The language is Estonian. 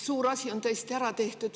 Suur asi on tõesti ära tehtud.